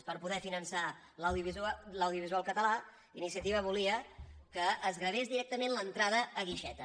per poder finançar l’audiovisual català iniciativa volia que es gravés directament l’entrada a guixeta